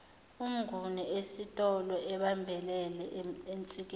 umnguni esitoloebambelele ensikeni